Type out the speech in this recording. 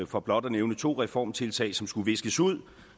for blot at nævne to reformtiltag som skulle viskes ud